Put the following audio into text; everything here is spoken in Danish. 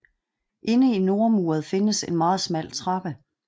Inde i nordmuret findes en meget smal trappe